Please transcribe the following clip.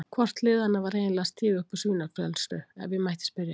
Hvort liðanna var eiginlega að stíga upp úr svínaflensu, ef ég mætti spyrja?